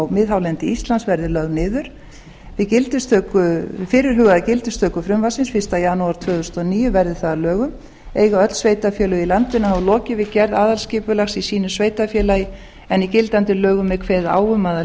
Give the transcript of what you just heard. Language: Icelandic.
miðhálendi íslands verði lögð niður við fyrirhugaða gildistöku frumvarpsins fyrsta janúar tvö þúsund og níu verði það að lögum eiga öll sveitarfélög í landinu hafa lokið við gerð aðalskipulags í sínu sveitarfélagi en í gildandi lögum er kveðið á um að